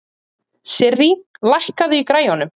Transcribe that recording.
Sirrí, lækkaðu í græjunum.